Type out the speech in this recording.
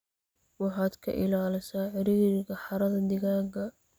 waxaad ka ilaalisa ciriiriga xaradhaa digaaga.